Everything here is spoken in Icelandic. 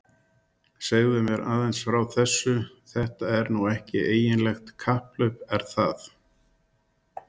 Segðu mér aðeins frá þessu, þetta er nú ekki eiginlegt kapphlaup er það?